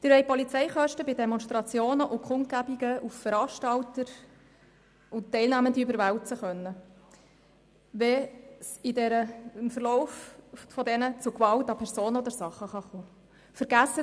Sie wollen Sicherheitskosten bei Demonstrationen und Kundgebungen auf Veranstalter und Teilnehmende überwälzen können, wenn es im Verlauf dieser Veranstaltungen zu Gewalt an Personen oder Sachen kommt.